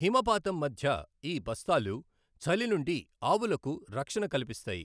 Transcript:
హిమపాతం మధ్య ఈ బస్తాలు చలి నుండి ఆవులకు రక్షణ కల్పిస్తాయి.